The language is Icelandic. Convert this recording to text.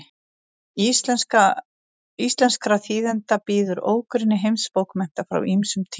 íslenskra þýðenda bíður ógrynni heimsbókmennta frá ýmsum tímum